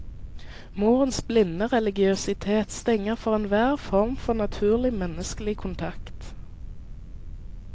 Morens blinde religiøsitet stenger for enhver form for naturlig menneskelig kontakt.